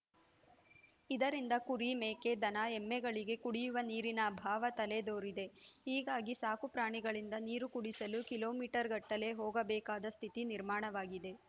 ಇದರಿಂದ ಕುರಿ ಮೇಕೆ ದನ ಎಮ್ಮೆಗಳಿಗೆ ಕುಡಿಯುವ ನೀರಿನ ಅಭಾವ ತಲೆದೋರಿದೆ ಹೀಗಾಗಿ ಸಾಕು ಪ್ರಾಣಿಗಳಿಂದ ನೀರು ಕುಡಿಸಲು ಕಿಲೋ ಮೀಟರ್ ಗಟ್ಟಲೆ ಹೋಗಬೇಕಾದ ಸ್ಥಿತಿ ನಿರ್ಮಾಣವಾಗಿದೆ